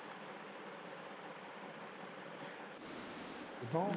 ਕਿਥੋਂ?